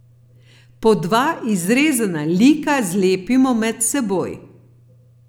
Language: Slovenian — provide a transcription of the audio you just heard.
Po dva izrezana lika zlepimo med seboj.